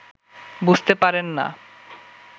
বুঝতে পারেন না